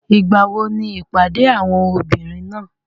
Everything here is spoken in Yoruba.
Ìgbàwo ni ìpàdé àwọn obìnrin náà?